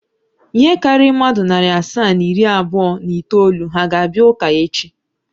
Ihe karịrị mmadụ narị asaa na iri abụọ na itoolu ha ga-abịa ụka echi?